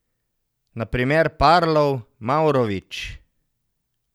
Na primer Parlov, Mavrović.